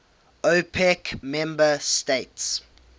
opec member states